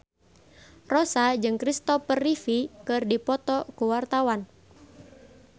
Rossa jeung Kristopher Reeve keur dipoto ku wartawan